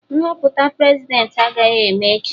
Nhọpụta Prezidentị agaghị eme echi